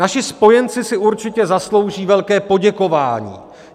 Naši spojenci si určitě zaslouží velké poděkování.